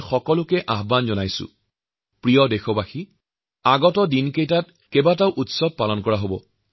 মোৰ শ্ৰদ্ধাৰ দেশবাসী কিছুদিনৰ ভিতৰতে ইটোৰ পিছত সিটোকৈ কেইবাটাও উৎসৱপাৰ্বন আহিছে